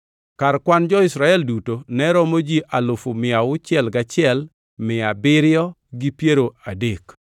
Kar kwan jo-Israel duto ne romo ji alufu mia auchiel gachiel, mia abiriyo gi piero adek (601,730).